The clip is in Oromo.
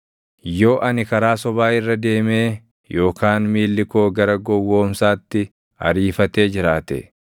“Yoo ani karaa sobaa irra deemee yookaan miilli koo gara gowwoomsaatti ariifatee jiraate,